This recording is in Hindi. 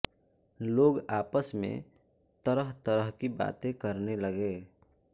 लोग आपस में तरह तरह की बातें करने लगे